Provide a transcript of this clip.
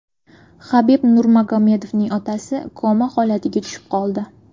Habib Nurmagomedovning otasi koma holatiga tushib qoldi.